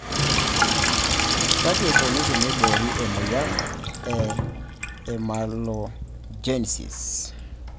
Kaji eikoni teneibori emoyian e amelogenesis?